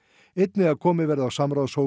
einnig að komið verði á samráðshópi